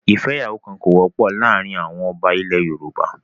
ìfẹ́yàwókan kò wọ́pọ̀ láàárín àwọn ọba ilẹ̀ Yorùbá.